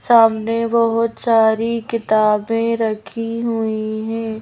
सामने बहोत सारी किताबें रखी हुई हैं।